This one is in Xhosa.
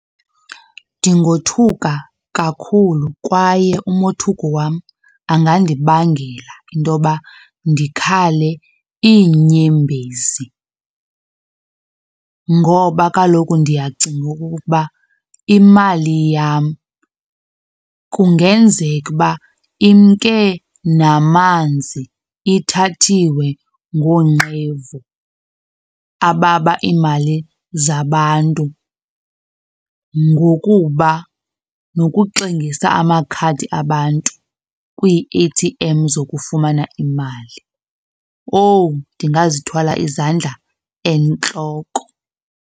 Ndingothuka kakhulu kwaye umothuko wam angandibangela intoba ndikhale iinyembezi ngoba kaloku ndiyacinga okokuba imali yam kungenzeka uba imke namanzi, ithathiweyo ngoonqevu ababa iimali zabantu, ngokuba nokuxingisa amakhadi abantu kwii-A_T_M zokufumana imali. Owu, ndingazithwala izandla entloko.